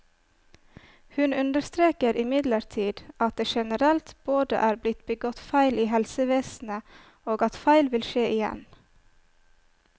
Hun understreker imidlertid at det generelt både er blitt begått feil i helsevesenet, og at feil vil skje igjen.